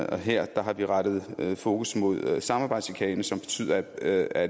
og her har vi rettet fokus mod samarbejdschikane som betyder at